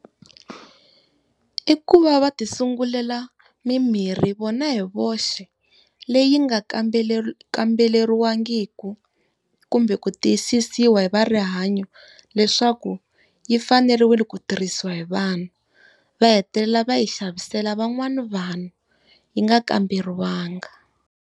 I ku va va ti sungulela mimirhi vona hi voxe, leyi nga kamberiwangiki kumbe ku tiyisisiwa hi va rihanyo, leswaku yi faneriwile ku tirhisiwa hi vanhu. Va hetelela va yi xavisela van'wana vanhu yi nga kamberiwangi.